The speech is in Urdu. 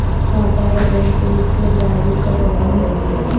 پاپائے روم پیر سے برازیل کا دورہ کریں گے